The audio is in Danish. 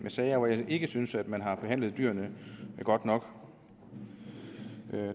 sager hvor jeg ikke synes at man har behandlet dyrene godt nok